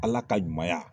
Ala ka ɲumanya